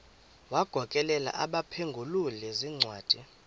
wagokelela abaphengululi zincwadi